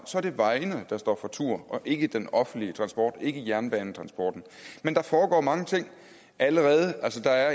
så er det vejene der står for tur og ikke den offentlige transport ikke jernbanetransporten men der foregår mange ting allerede altså der